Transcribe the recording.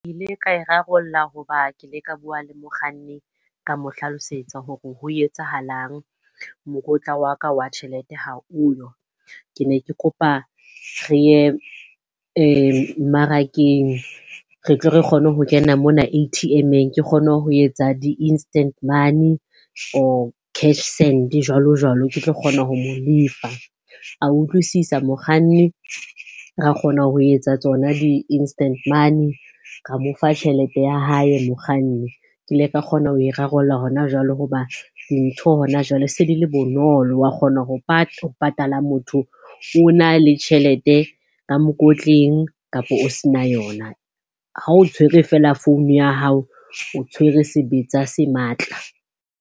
Ka e rarollla hoba ke ile ka bua le mokganni, ka mo hlalosetsa hore ho etsahalang? Mokotla wa ka wa tjhelete ha oyo. Ke ne ke kopa re ye mmarakeng re tle re kgone ho kena mona A_T_M-eng ke kgone ho etsa di-instant money or cash send jwalo-jwalo ke tlo kgona ho mo lefa. A utlwisisa mokganni, ra kgona ho etsa tsona di-instant money, ka mo fa tjhelete ya hae mokganni. Ke ile ka kgona ho e rarolla hona jwalo hoba dintho hona jwale se di le bonolo, wa kgona ho patala motho o na le tjhelete ka mokotleng kapo o sena yona. Ha o tshwere feela founu ya hao, o tshwere sebetsa se matla.